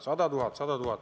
Sada tuhat!